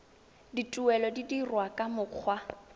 dituelo di dirwa ka mokgwa